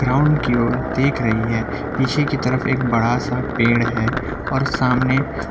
ground की ओर देख रही है पीछे की तरफ एक बड़ा सा पेड़ है और सामने--